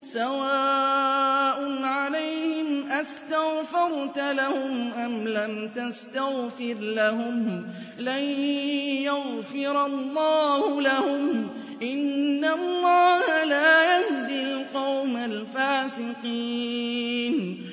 سَوَاءٌ عَلَيْهِمْ أَسْتَغْفَرْتَ لَهُمْ أَمْ لَمْ تَسْتَغْفِرْ لَهُمْ لَن يَغْفِرَ اللَّهُ لَهُمْ ۚ إِنَّ اللَّهَ لَا يَهْدِي الْقَوْمَ الْفَاسِقِينَ